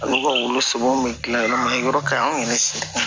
Ale ka wulu sɛbn bɛ dilan yen nɔ yɔrɔ ka ɲi an yɛrɛ siri